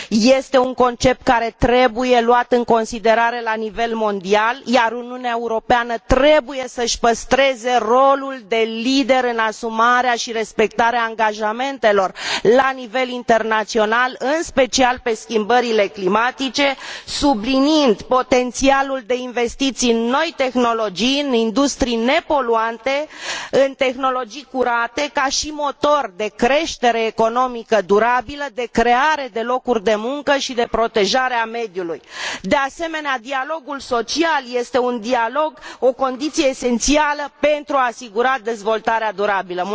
este un concept care trebuie luat în considerare la nivel mondial, iar Uniunea Europeană trebuie să și păstreze rolul de lider în asumarea și respectarea angajamentelor la nivel internațional, în special pe schimbările climatice, subliniind potențialul de investiții în noi tehnologii, în industrii nepoluante, în tehnologii curate ca și motor de creștere economică durabilă, de creare de locuri de muncă și de protejarea mediului. De asemenea, dialogul social este o condiție esențială pentru a asigura dezvoltarea durabilă.